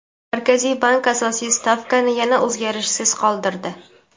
Markaziy bank asosiy stavkani yana o‘zgarishsiz qoldirdi.